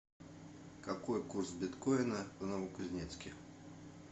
какой курс биткоина в новокузнецке